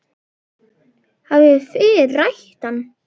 Hafið þið rætt við hann?